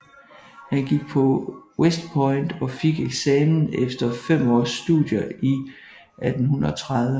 Han gik på West Point og fik eksamen efter fem års studier i 1830